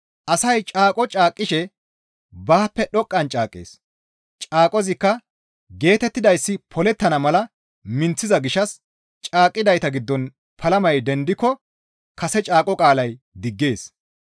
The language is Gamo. Asay caaqo caaqqishe baappe dhoqqan caaqqees; Caaqozikka geetettidayssi polettana mala minththiza gishshas caaqqidayta giddon palamay dendiko kase caaqo qaalay diggees.